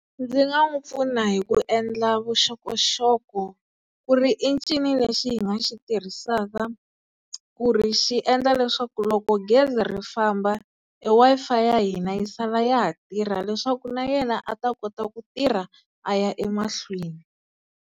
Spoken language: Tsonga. Ndzi nga n'wi pfuna hi ku endla vuxokoxoko ku ri i ncini lexi hi nga xi tirhisaka ku ri xi endla leswaku loko gezi ri famba e Wi-Fi ya hina yi sala ya ha tirha leswaku na yena a ta kota ku tirha a ya emahlweni.